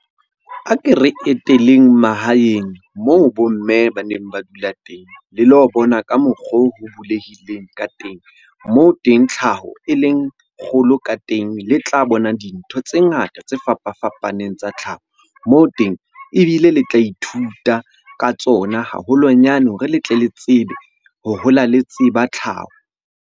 A ke re eteleng mahaeng moo bo mme ba neng ba dula teng le lo bona ka mokgo ho bulehileng ka teng. Moo teng tlhaho e leng kgolo ka teng, le tla bona dintho tse ngata tse fapafapaneng tsa tlhaho. Moo teng ebile le tla ithuta ka tsona haholonyane hore le tle le tsebe ho hola le tseba tlhaho.